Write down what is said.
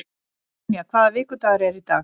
Sonja, hvaða vikudagur er í dag?